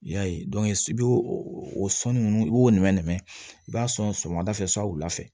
I y'a ye i b'o o sɔnni ninnu i b'o nɛmɛ nɛmɛ i b'a sɔn sɔgɔmada fɛ san wula fɛ